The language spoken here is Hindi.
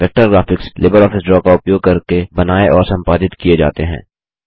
वेक्टर ग्राफिक्स लिबरऑफिस ड्रा का उपयोग करके बनाये और संपादित किये जाते हैं